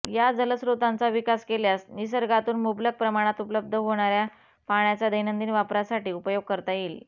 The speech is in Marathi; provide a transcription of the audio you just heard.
या जलस्रोतांचा विकास केल्यास निसर्गातून मुबलक प्रमाणात उपलब्ध होणार्या पाण्याचा दैनंदिन वापरासाठी उपयोग करता येईल